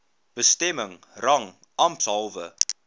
bestemming rang ampshalwe